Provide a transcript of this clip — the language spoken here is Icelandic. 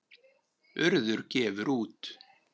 Urður gefur út.